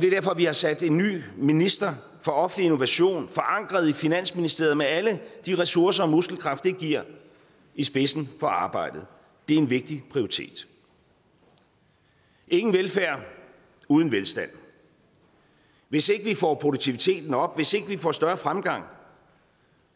det er derfor vi har sat en ny minister for offentlig innovation forankret i finansministeriet med alle de ressourcer og muskelkraft det giver i spidsen for arbejdet det er en vigtig prioritet ingen velfærd uden velstand hvis ikke vi får produktiviteten op hvis ikke vi får større fremgang